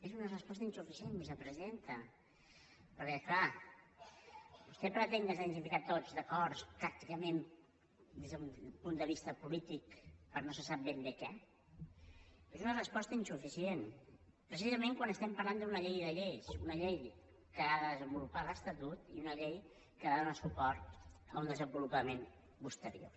és una resposta insuficient vicepresidenta perquè clar vostè pretén que ens hàgim de posar tots d’acord tàcticament des d’un punt de vista polític per a no se sap ben bé què és una resposta insuficient precisament quan estem parlant d’una llei de lleis una llei que ha de desenvolupar l’estatut i una llei que ha de donar suport a un desenvolupament posterior